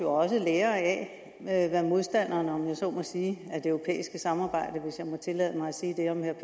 også lærer af hvad modstanderen om jeg så må sige af det europæiske samarbejde hvis jeg må tillade mig at sige det om herre